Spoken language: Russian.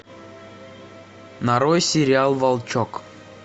нарой сериал волчок